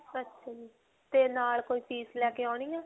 ਅੱਛਾ ਜੀ. ਤੇ ਨਾਲ ਕੋਈ fees ਲੈ ਕੇ ਆਉਣੀ ਹੈ?